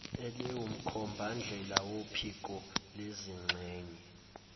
eliwumkhombandlela wophiko lezizingxenye